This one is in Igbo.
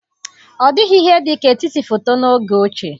Ọ dịghị ihe dị ka etiti foto n'oge ochie.